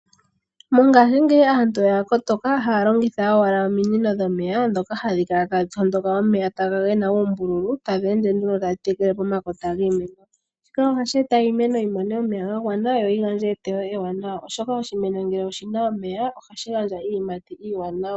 Mongashingeyi aantu oya kotoka. Ohaya longitha owala ominino dhomeya, ndhoka hadhi kala tadhi tondoka omeya taga ende moombululu, taga ende nduno taga tekele pomakota giimeno. Shika ohashi e ta iimeno yi mone omeya ga gwana, yo yi gandje eteyo ewanawa, oshoka oshimeno ngele oshina omeya, ohashi gandja iiyimati iiwanawa.